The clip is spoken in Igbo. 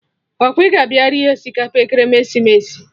Ọkwa ị ga abịa rie osikapa ekeresimesi?